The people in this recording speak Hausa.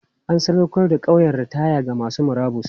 An sadaukar da ƙauyen ritaya ga masu murabus.